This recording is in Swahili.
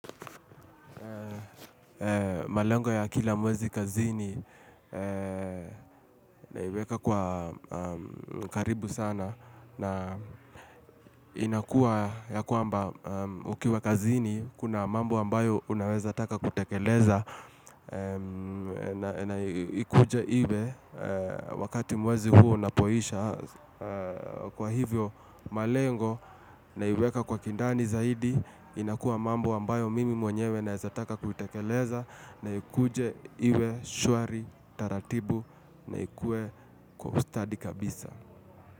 Malengo ya kila mwezi kazini naiweka kwa karibu sana na inakua yakwamba ukiwa kazini Kuna mambo ambayo unaweza taka kutekeleza na ikuje iwe wakati mwezi huo unapoisha Kwa hivyo malengo naiweka kwa kindani zaidi inakua mambo ambayo mimi mwenyewe naweza taka kutekeleza na ikuje iwe shwari taratibu na ikuwe kwa ustadi kabisa.